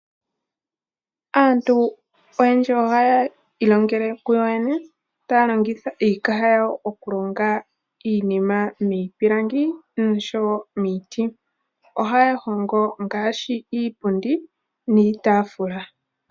Aantu oyendji oha yi ilongele kuyo yene, taa longitha iikaha yawo okulonga iinima miipilangi nosho wo miiti. Ohaya hongo ngaashi iipundi niitaafula.